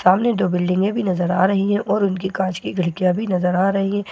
सामने दो बिल्डिंगें भी नजर आ रही हैं और उनकी कांच की खिड़कियां भी नजर आ रही हैं।